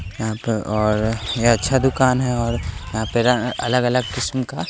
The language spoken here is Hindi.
यहां पर और यह अच्छा दुकान है और यहां पे अलग अलग किस्म का--